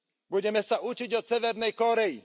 Budeme sa učiť od severnej Kórey.